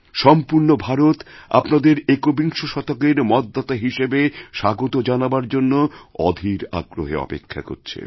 সম্পূর্ণ ভারত আপনাদের একবিংশ শতকের মতদাতাহিসেবে স্বাগত জানাবার জন্য অধীর আগ্রহে অপেক্ষা করছে